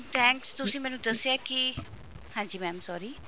thanks ਤੁਸੀਂ ਮੈਨੂੰ ਦੱਸਿਆ ਕਿ ਹਾਂਜੀ mam sorry